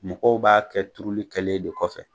Mɔgɔw b'a kɛ turuli kɛlen de kɔfɛ.